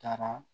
Taara